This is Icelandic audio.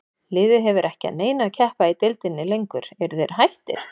Liðið hefur ekki að neinu að keppa í deildinni lengur, eru þeir hættir?